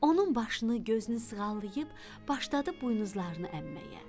Onun başını, gözünü sığallayıb başladı buynuzlarını əmməyə.